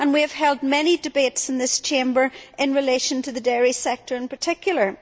We have held many debates in this Chamber in relation to the dairy sector in particular.